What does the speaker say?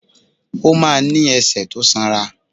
Ó ma ní ẹsẹ̀ tó sanra.